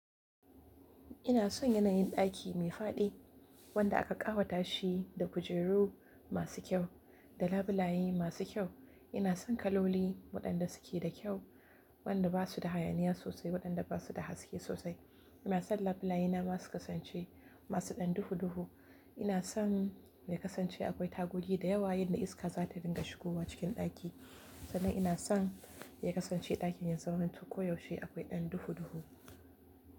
Ina son yanayin ɗaki mai faɗi wanda aka ƙawata shi da kujeru masu kyau da labulaye masu kyau. Ina son kaloli waɗanda suke da kyau waɗanda ba su da hayaniya sosai, waɗanda ba su da haske sosai. Ina son labulayena zasu kasance masu ɗan duhu-duhu. Ina son ya kasance akwai tagogi da yawa yanda iska za ta dinga shigowa cikin ɗaki sannan ina son ya kasance ɗakin ya zamanto ƙo yaushe akwai ɗan duhu-duhu.